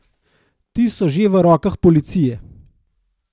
Ti so že v rokah policije.